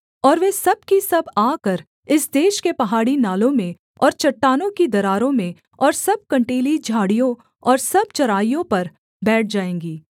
और वे सब की सब आकर इस देश के पहाड़ी नालों में और चट्टानों की दरारों में और सब कँटीली झाड़ियों और सब चराइयों पर बैठ जाएँगी